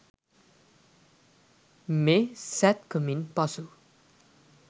මේ "සැත්කමින්" පසු